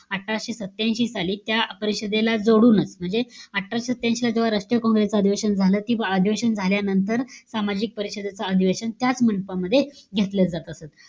अठराशे सत्यांशी साली, त्या परिषदेला जोडूनच. म्हणजे, अठराशे सत्यांशीला जेव्हा राष्ट्रीय college च अधिवेशन झालं. कि अधिवेशन झाल्यानंतर सामाजिक परिषदेचं अधिवेशन त्याच मंडपामध्ये घेतलं जात असे.